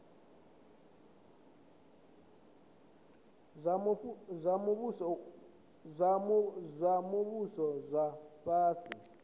zwa muvhuso zwa vha fhasi